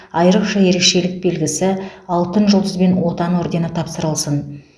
айрықша ерекшелік белгісі алтын жұлдыз бен отан ордені тапсырылсын